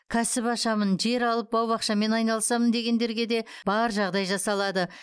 кәсіп ашамын жер алып бау бақшамен айналысамын дегендерге де бар жағдай жасалады